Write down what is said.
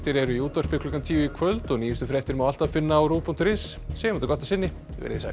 eru í útvarpi klukkan tíu í kvöld og nýjustu fréttir má alltaf finna á rúv punktur is en segjum þetta gott að sinni veriði sæl